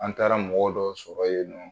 An taara mɔgɔ dɔ sɔrɔ yen nɔ